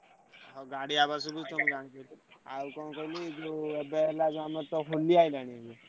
ଆଉ ଗାଡି ଆବାଜ ରୁ ମୁଁ ଜାଣିଦେଲି ଆଉ ଯୋଉ କଣ କହିଲୁ ଏବେ ଆମର ହେଲା ହୋଲି ଆଇଲାଣି।